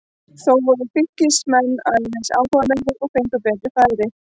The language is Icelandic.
Þó voru Fylkismenn aðeins áhugameiri og fengu betri færi.